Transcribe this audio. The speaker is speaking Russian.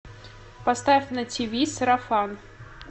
поставь на тиви сарафан